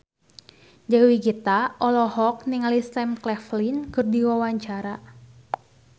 Dewi Gita olohok ningali Sam Claflin keur diwawancara